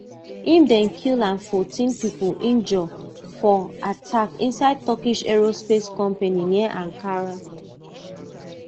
im dem kill and fourteen pipo injure for attack inside turkish aerospace company near ankara